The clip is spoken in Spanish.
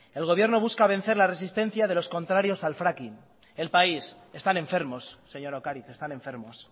el gobierno busca vencer la resistencia de los contrarios al fracking el país están enfermos señora ocariz están enfermos